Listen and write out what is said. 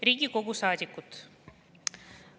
Riigikogu saadikud!